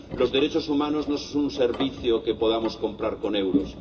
Los derechos humanos no son un servicio que podamos comprar con euros.